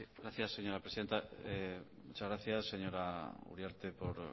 gracias señora presidenta muchas gracias señora uriarte por